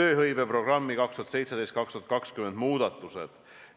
tööhõiveprogrammi 2017–2020 muudatused.